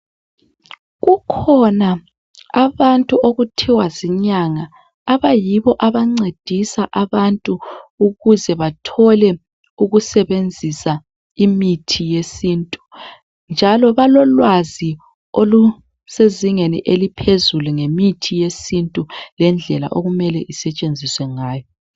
Kukhona abantu okuthiwa zinyanga, abayibo abancedisa abantu ukuze bathole ukusebenzisa imithi yesintu. Njalo balolwazi olusezingeni eliphezulu ngemithi yesintu njalo lendlela okumele isetshenziswe ngayo